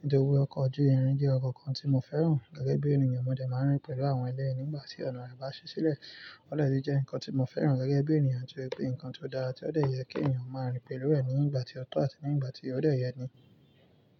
Nítorí pé ọkọ̀ ojú irin jẹ́ ǹkan kan tí mo fẹ́ràn gẹ́gẹ́ bí ènìyàn. Mo dẹ máa ń rìn pẹ̀lú àwọn ẹlẹ́rìí nígbà tí ọ̀nà rẹ̀ bá ṣí sílẹ̀. Ọ̀dẹ tun jẹ́ ǹkan tí mo fẹ́ràn gẹ́gẹ́ bí ènìyàn torí pé ǹkan tí ó dára tí ó de yẹ kí ènìyàn ó máa rìn pẹ̀lú ẹ̀ nígbà tí ọ̀tọ̀ àti nígbà tí ó ṣe yẹ ni.